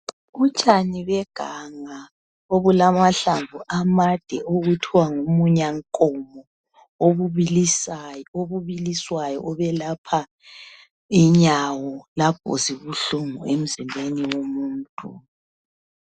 Utshani beganga obulamahlamvu amade okuthwa ngumunyankomo obubiliswayo obelapha inyawo lapho zibuhlungu emzimbeni womuntu.